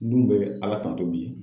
N dun bɛ ala tanto bi.